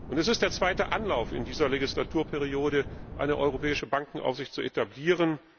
Es ist der zweite Anlauf in dieser Legislaturperiode, eine europäische Bankenaufsicht zu etablieren.